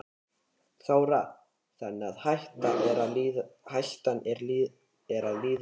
Þóra: Þannig að hættan er að líða hjá?